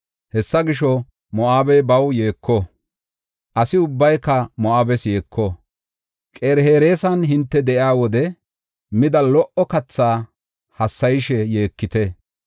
Hessa gisho, Moo7abey baw yeeko; asi ubbayka Moo7abes yeeko. Qir-Hereesan hinte de7iya wode mida lo77o kathaa hassayishe yeekite.